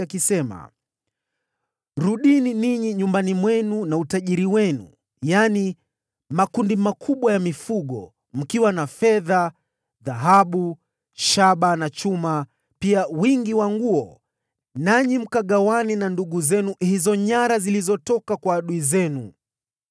akisema, “Rudini nyumbani mwenu na utajiri wenu mwingi, yaani makundi makubwa ya mifugo, mkiwa na fedha, dhahabu, shaba na chuma, pia wingi wa nguo, nanyi mkagawane na ndugu zenu hizo nyara zilizotoka kwa adui zenu.”